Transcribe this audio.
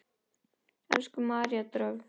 Elsku María Dröfn.